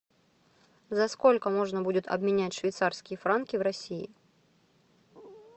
за сколько можно будет обменять швейцарские франки в россии